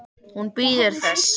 Hún bíður þess.